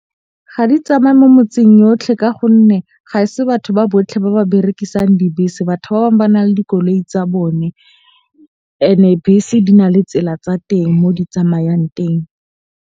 Ga di tsamaye mo metseng yotlhe ka gonne ga e se batho ba botlhe ba ba berekisang dibese. Batho ba bang ba na le dikoloi tsa bone ene bese di na le tsela tsa teng mo di tsamayang teng.